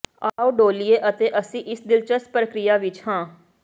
ਆਓ ਡੋਲ੍ਹੀਏ ਅਤੇ ਅਸੀਂ ਇਸ ਦਿਲਚਸਪ ਪ੍ਰਕਿਰਿਆ ਵਿਚ ਹਾਂ